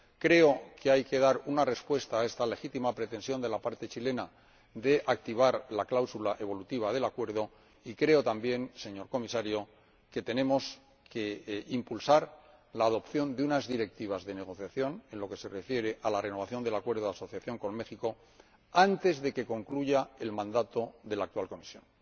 Creo que hay que dar una respuesta a esta legítima pretensión de la parte chilena de activar la cláusula evolutiva del acuerdo y creo también, señor Comisario, que tenemos que impulsar la adopción de unas directivas de negociación, en lo que se refiere a la renovación del Acuerdo de Asociación con México, antes de que concluya el mandado de la actual Comisión.